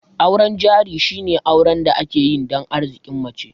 Auren jari shine auren da ake yi dan Arzikin mace